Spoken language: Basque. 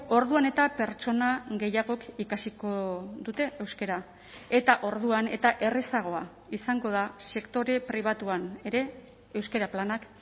orduan eta pertsona gehiagok ikasiko dute euskara eta orduan eta errazagoa izango da sektore pribatuan ere euskara planak